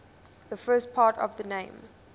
the first part of the name